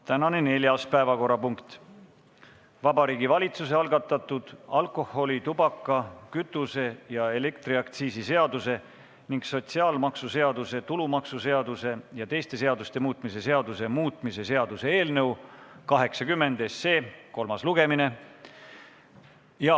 Tänane neljas päevakorrapunkt on Vabariigi Valitsuse algatatud alkoholi-, tubaka-, kütuse- ja elektriaktsiisi seaduse ning sotsiaalmaksuseaduse, tulumaksuseaduse ja teiste seaduste muutmise seaduse muutmise seaduse eelnõu 80 kolmas lugemine.